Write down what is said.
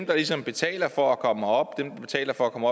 der ligesom betaler for at komme herop dem der betaler for at komme